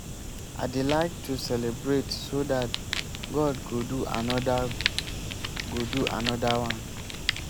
i dey like to celebrate so dat god go do another go do another one